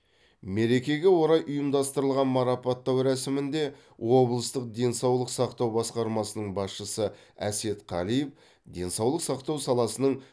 мерекеге орай ұйымдастырылған марапаттау рәсімінде облыстық денсаулық сақтау басқармасының басшысы әсет қалиев денсаулық сақтау саласының